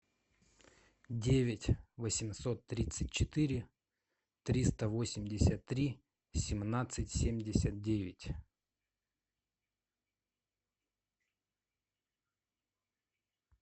девять восемьсот тридцать четыре триста восемьдесят три семнадцать семьдесят девять